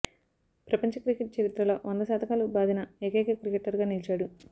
ప్రపంచ క్రికెట్ చరిత్రలో వంద శతకాలు బాదిన ఏకైక క్రికెటర్గా నిలిచాడు